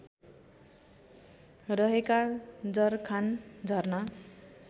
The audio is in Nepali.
रहेका जरखान झरना